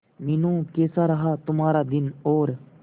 मीनू कैसा रहा तुम्हारा दिन और